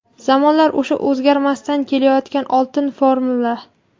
Zamonlar o‘sha o‘zgarmasdan kelayotgan oltin formula.